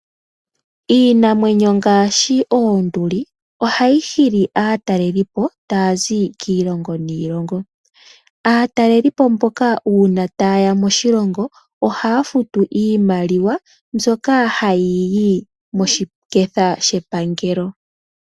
Iinamwenyo ngaashi oonduli ohayi hili aatalelipo taya zi kiilongo niilongo. Aatalelipo mboka uuna taye ya moshilongo ohaya futu iimaliwa mbyoka hayi yi moshiketha shepangelo.